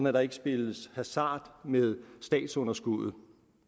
at der ikke spilles hasard med statsunderskuddet